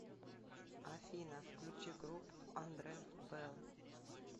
афина включи группу андре белл